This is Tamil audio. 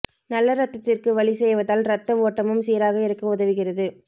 நல்ல இரத்தத்திற்கு வழி செய்வதால் இரத்த ஓட்டமும் சீராக இருக்க உதவுகிறது